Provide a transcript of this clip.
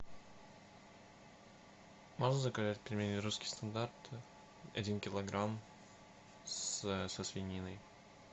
можешь заказать пельмени русский стандарт один килограмм со свининой